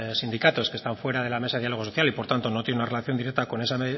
sindicatos que están fuera de la mesa del diálogo social y por tanto no tienen una relación directa con esa